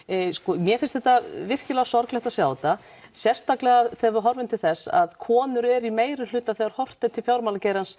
mér finnst virkilega sorglegt að sjá þetta sérstaklega þegar við horfum til þess að konur eru í meirihluta þegar horft er til fjármálageirans